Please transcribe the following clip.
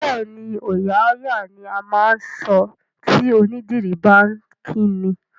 Bẹẹni, "ọòya á yà" ni á máa ń sọ tí onídìrí bá ń kí ni.